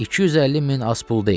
250 min az pul deyil.